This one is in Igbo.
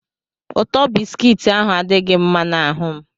ụtọ bisikiiti ahụ adighi mma na ahum